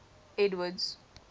edward's